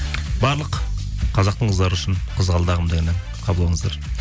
барлық қазақтың қыздары үшін қызғалдағым деген ән қабыл алыңыздар